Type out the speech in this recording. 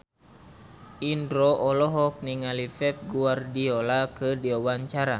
Indro olohok ningali Pep Guardiola keur diwawancara